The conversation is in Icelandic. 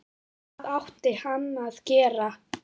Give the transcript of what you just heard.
Hvað átti hann að gera?